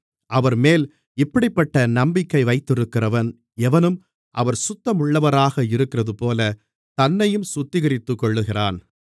அவர்மேல் இப்படிப்பட்ட நம்பிக்கை வைத்திருக்கிறவன் எவனும் அவர் சுத்தமுள்ளவராக இருக்கிறதுபோல தன்னையும் சுத்திகரித்துக்கொள்ளுகிறான்